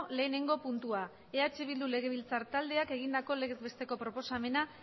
lehenengo puntuaeh bildu legebiltzar taldeak egindako legez besteko proposamena